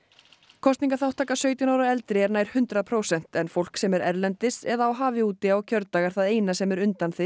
kosningaþátttaka sautján ára og eldri er nær hundrað prósent en fólk sem er erlendis eða á hafi úti á kjördag er það eina sem er undanþegið